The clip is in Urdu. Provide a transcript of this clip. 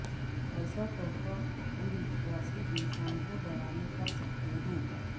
ایسا تحفہ اندوشواسی انسان کو ڈرانے کر سکتے ہیں